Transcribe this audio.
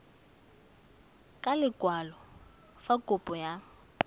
ka lekwalo fa kopo ya